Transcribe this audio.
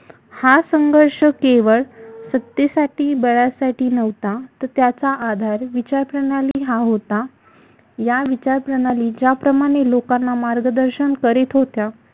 हा संघर्ष केवळ सत्तेसाठी बळासाठी नव्हता त्याचा आधार विचारप्रणाली हा होता या विचारप्रणाली ज्याप्रमाणे लोकांना मार्गदर्शन करीत होत्या